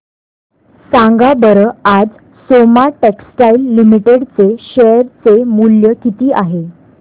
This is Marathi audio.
सांगा बरं आज सोमा टेक्सटाइल लिमिटेड चे शेअर चे मूल्य किती आहे